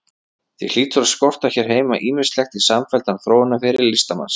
Því hlýtur að skorta hér heima ýmislegt í samfelldan þróunarferil listamannsins.